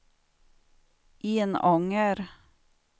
Enånger